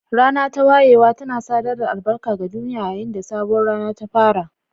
Rana ta wayewa tana sadar da albarka ga duniya yayin da sabuwar rana ta fara.